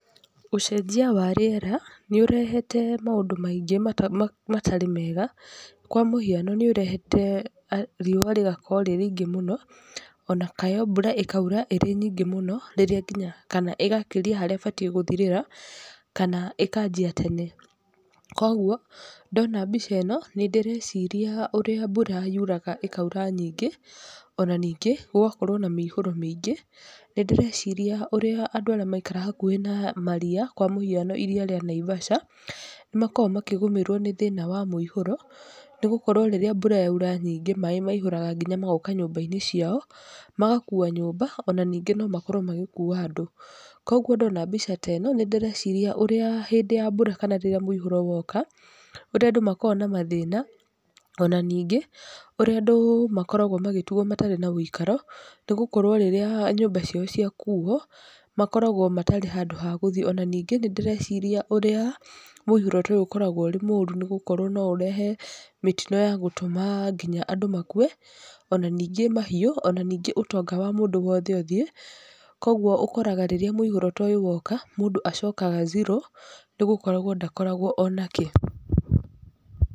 Ũcenjia wa rĩera nĩ ũrehete maũndũ maingĩ matarĩ mega, kwa mũhiano nĩ ũrehete riũa rĩgakorwo rĩ rĩingĩ mũno, ona kana mbura ĩkaura ĩrĩ nyingĩ mũno, rĩrĩ nginya kana ĩgakĩria harĩa ĩbatiĩ gũthirĩra, kana ĩkanjia tene. Koguo, ndona mbica ĩno, nĩ ndĩreciria ũrĩa mbura yuraga ĩkaura nyingĩ, ona ningĩ, gũgakorwo na miihũro mĩingĩ, nĩ ndĩreciria ũrĩa andũ arĩa maikaraga hakuhĩ na maria, kwa mũhiano iria rĩa Naivasha, nĩ makoragwo makĩgũmĩrwo nĩ thĩna wa mũihũro, nĩ gũkorwo rĩrĩa mbura yaura nyingĩ maĩ maihũraga nginya magoka nyũmba-inĩ ciao, magakua nyũmba, ona ningĩ no makorwo magĩkua andũ. Koguo ndona mbica ta ĩno, nĩ ndĩreciria ũrĩa hĩndĩ ya mbura kana rĩrĩa mũihũro woka, ũrĩa andũ makoragwo na mathĩna, ona ningĩ, ũrĩa andũ makoragwo magĩtigwo matarĩ na ũikaro, nĩgũkorwo rĩrĩa nyũmba ciao ciakuo, makoragwo matarĩ handũ ha gũthii, ona ningĩ nĩndĩreciria ũrĩa mũihũro ta ũyũ ũkoragwo ũrĩ mũru nĩgũkorwo no ũrehe mĩtino ya gũtũma nginya andũ makue, ona ningĩ mahiũ, ona ningĩ ũtonga wa mũndũ wothe ũthiĩ, koguo ũkoraga ta rĩrĩa mũihũro ta ũyũ woka, mũndũ acokaga zero, nĩ gũkorwo ndakotagwo ona kĩ.